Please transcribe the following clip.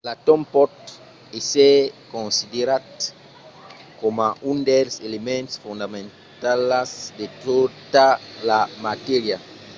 l'atòm pòt èsser considerat coma un dels elements fondamentalas de tota la matèria